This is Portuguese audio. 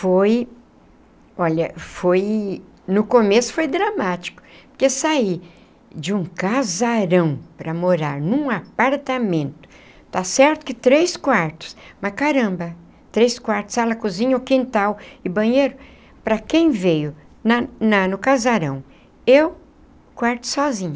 Foi... olha, foi... no começo foi dramático, porque sair de um casarão para morar num apartamento, está certo que três quartos, mas caramba, três quartos, sala cozinha, o quintal e banheiro, para quem veio na na no casarão, eu quarto sozinha.